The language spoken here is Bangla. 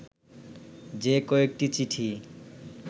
যে কয়েকটি চিঠি